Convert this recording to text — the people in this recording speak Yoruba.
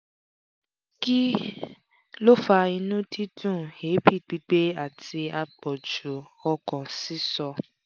kí ló ń fa inú dídùn èébì gbigbẹ àti àpọ̀jù ọkàn sísọ?